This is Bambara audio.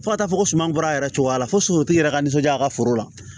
Fo ka taa fɔ ko suma bɔra a yɛrɛ cogoya la fo suntigi yɛrɛ ka nisɔndiya a ka foro la